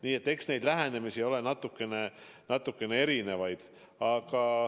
Nii et eks neid lähenemisi ole natukene erinevaid.